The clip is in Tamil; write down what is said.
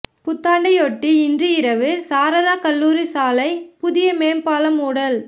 புத்தாண்டையொட்டி இன்று இரவு சாரதா கல்லூரி சாலை புதிய மேம்பாலம் மூடல்